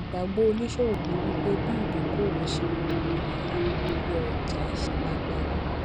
ìgbàgbọ oníṣòwò ni wípé bí ìdókòwò ṣe oọ iye owó orí ọjà ṣe lágbára